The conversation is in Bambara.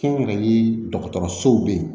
Kɛnyɛrɛye dɔgɔtɔrɔsow be yen